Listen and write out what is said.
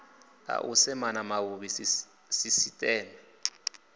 a u semana mavhuvhisi sisiteme